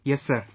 Yes sir